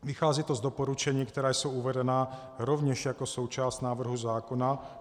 Vychází to z doporučení, která jsou uvedena rovněž jako součást návrhu zákona.